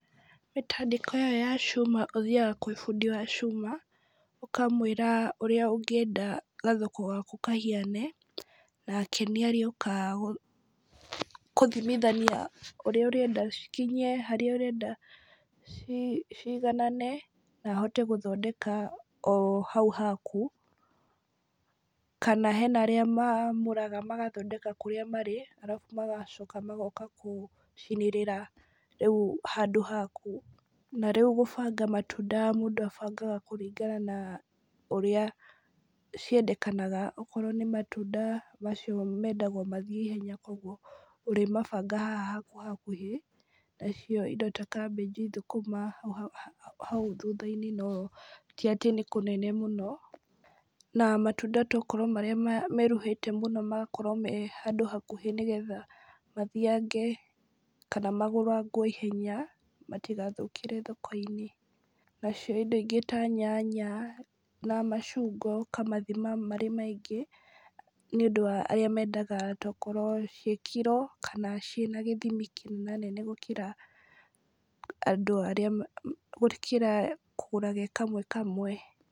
Mĩtandĩko ĩyo ya cuma ũthiaga kwĩ bundi wa cuma, ũkamwĩra ũrĩa ũngĩenda gathoko gaku kahiane, nake nĩ agĩũkaga gũthimithania ũrĩa ũrenda cikinye, harĩa ũrenda cigananane na ahote gũthondeka o hau haku, kana hena arĩa maamũraga magathondekeka kũrĩa marĩ ,arabu magacoka gũka gũcinĩrĩra rĩu handũ haku, na rĩu gũbanga matunda mũndũ agabangaga kũringana na ũrĩa ciendekanaga, okorwo nĩ matunda macio mendaga o mathiĩ ihenya , kũgwo ũrĩmabanga haha hakuhakuhĩ, na cio indo ta kabĩnji, thũkũma hau thutha-inĩ, no ti atĩ nĩ kũnene mũno, na matunda tokorwo marĩa meruhĩte mũno , magakorwo me handũ hakuhĩ, nĩgetha mathiage, kana magũragwo na ihenya ,matigathũkĩre thoko-inĩ, na cio indo ingĩ ta nyanya, na macungwa ũkamathima marĩ maingĩ ,nĩ ũndũ wa arĩa mendaga tokorwo ciĩ kiro , kana cina gĩthimi kĩnenanene gũkĩra andũ arĩa, gũkĩra kũgũraga kamwe kamwe.